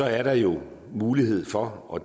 er der jo mulighed for og